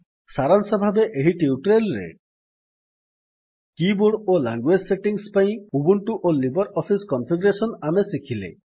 ସାରାଂଶ ଭାବେ ଏହି ଟ୍ୟୁଟୋରିଆଲ୍ ରେ କୀ ବୋର୍ଡ ଓ ଲାଙ୍ଗୁଏଜ୍ ସେଟିଙ୍ଗ୍ସ ପାଇଁ ଉବୁଣ୍ଟୁ ଓ ଲିବର୍ ଅଫିସ୍ କନଫିଗରେଶନ୍ ଆମେ ଶିଖିଲେ